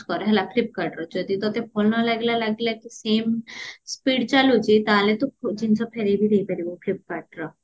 flipcardରୁ ଜଦି ତତେ ଭଲ ଲାଗିଲା ଲାଗିଲା କି ସିମ speed ଚାଲୁଚି ତାହେଲେ ତୁ ଜିନିଷ ଫେରେଇ ବି ଦେଇପାରିବୁ flipcardର